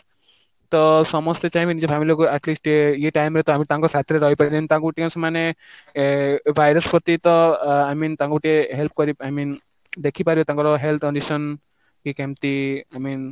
ତ ସମସ୍ତେ ଚାହିଁବେ ନିଜ family କୁ atleast ଇଏ time ରେ ତ ଆମେ ତାଙ୍କ ସାଥିରେ ରହିପାରିବେ ଯେମିତି ତାଙ୍କୁ ସେମାନେ virus ପ୍ରତି ତ I mean ତାଙ୍କୁ ଟିକେ help କରି I mean ଦେଖିପାରିବେ ତାଙ୍କ health condition କି କେମିତି I mean